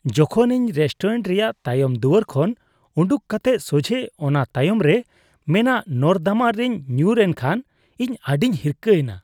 ᱡᱚᱠᱷᱚᱱ ᱤᱧ ᱨᱮᱥᱴᱳᱨᱮᱱᱴ ᱨᱮᱭᱟᱜ ᱛᱟᱭᱚᱢ ᱫᱩᱣᱟᱹᱨ ᱠᱷᱚᱱ ᱩᱰᱩᱜ ᱠᱟᱛᱮᱜ ᱥᱚᱡᱷᱮ ᱚᱱᱟ ᱛᱟᱭᱚᱢ ᱨᱮ ᱢᱮᱱᱟᱜ ᱱᱚᱨᱫᱚᱢᱟ ᱨᱮᱧ ᱧᱩᱨ ᱮᱱᱠᱷᱟᱱ ᱤᱧ ᱟᱹᱰᱤᱧ ᱦᱤᱨᱠᱷᱟᱹ ᱮᱱᱟ ᱾